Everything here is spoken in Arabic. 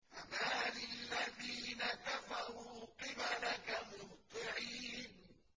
فَمَالِ الَّذِينَ كَفَرُوا قِبَلَكَ مُهْطِعِينَ